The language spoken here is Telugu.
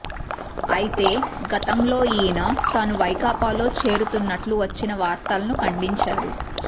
అయితే గతంలో ఈయన తాను వైకాపాలో చేరుతున్నట్లు వచ్చిన వార్తలను ఖండించారు